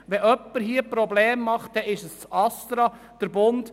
Wenn jemand Probleme macht, dann ist es das ASTRA.